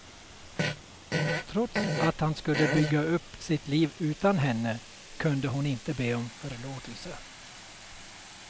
Trots att han skulle bygga upp sitt liv utan henne, kunde hon inte be om förlåtelse.